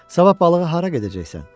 Sabah balığı hara gedəcəksən?